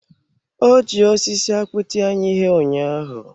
Ọ ji osisi akpụ tie anyị ihe ụnyaahụ.